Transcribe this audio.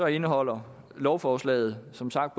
indeholder lovforslaget som sagt